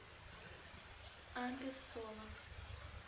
адрес соло